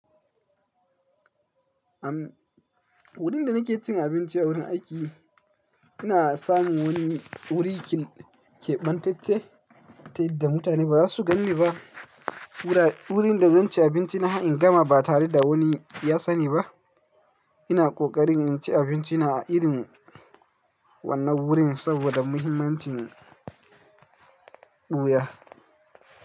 Am wurin da nake cin abinci a wurin aiki, ina samun wani wuri keɓantacce ta yadda mutane ba za su ganni ba. Wura wurin da zan ci abinci na har in gama ba tare da wani ya sani ba. Ina kokarin in ci abinci na a irin wannan wurin saboda muhimmancin buya.